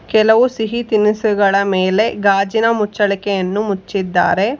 ಕೆಲವು ಸಿಹಿ ತಿನಿಸುಗಳ ಮೇಲೆ ಗಾಜಿನ ಮುಚ್ಚಳಿಕೆಯನ್ನು ಮುಚ್ಚಿದ್ದಾರೆ.